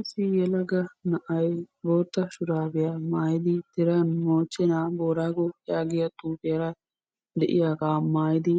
issi yelaga na'ay booyya shuraabiya maayidi moochenaa booraago gongoluwa yaagiya